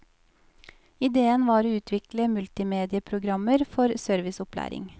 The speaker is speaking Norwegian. Idéen var å utvikle multimedieprogrammer for serviceopplæring.